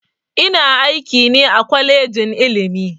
Ina aiki ne a kwalejin ilimi